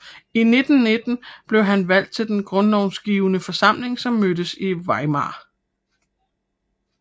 I 1919 blev han valgt til den grundlovsgivende forsamling som mødtes i Weimar